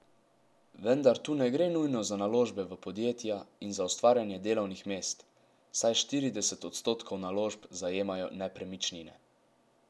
Vendar tu ne gre nujno za naložbe v podjetja in za ustvarjanje delovnih mest, saj štirideset odstotkov naložb zajemajo nepremičnine.